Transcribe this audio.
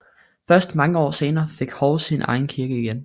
Først mange år senere fik Hov sin egen kirke igen